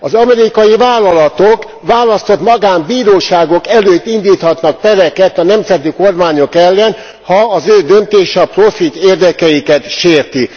Az amerikai vállalatok választott magánbíróságok előtt indíthatnak pereket a nemzeti kormányok ellen, ha az ő döntésük a profitérdekeiket sérti.